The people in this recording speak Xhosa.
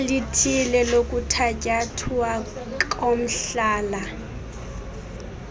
elithile lokuthatyathwa komhlala